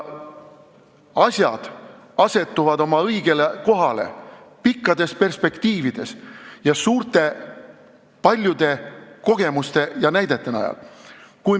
Asjad asetuvad oma õigele kohale pikas perspektiivis, paljude kogemuste ja näidete najal.